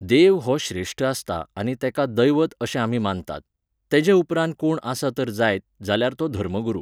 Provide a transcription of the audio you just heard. देव हो श्रेष्ट आसता आनी तेका दैवत अशे आमी मानतात. तेजे उपरांत कोण आसा जर जायत, जाल्यार तो धर्मगुरू